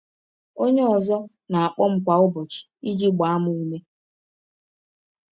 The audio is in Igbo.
Onye ọzọ na-akpọ m kwa ụbọchị iji gbaa m ume.